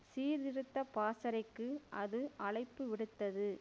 சீர்திருத்த பாசறைக்கு அது அழைப்பு விடுத்தது